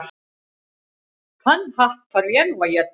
Þann hatt þarf ég nú að éta.